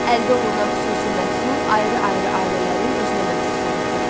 Əldə olunan xüsusi məhsul ayrı-ayrı ailələrin özünə məxsus olurdu.